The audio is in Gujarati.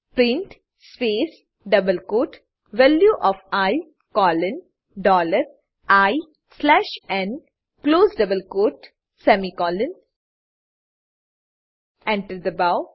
print space double quote value O F I colon dollar I slash n close double quote semicolon Enter enter દબાવો